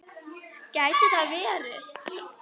Gæti það verið?